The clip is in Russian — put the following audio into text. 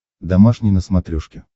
домашний на смотрешке